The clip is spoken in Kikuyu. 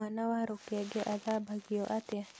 Mwana wa rũkenge athambagio atĩa?